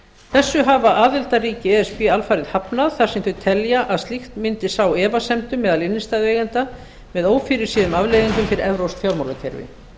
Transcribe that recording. þessu hafa aðildarríki e s b alfarið hafnað þar sem þau telja að slíkt mundi sá efasemdum meðal innstæðueigenda með ófyrirséðum afleiðingum fyrir evrópsk fjármálakerfi